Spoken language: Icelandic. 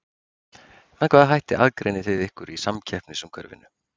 Með hvaða hætti aðgreinið þið ykkur í samkeppnisumhverfinu?